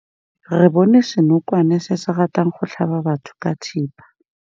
Re bone senokwane se se ratang go tlhaba batho ka thipa.